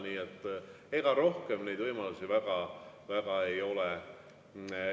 Nii et ega rohkem neid võimalusi väga ei ole.